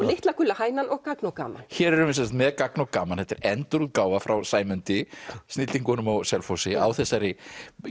litla gula hænan og gagn og gaman hér erum við sem sagt með gagn og gaman þetta er endurútgáfa frá Sæmundi snillingunum á Selfossi á þessari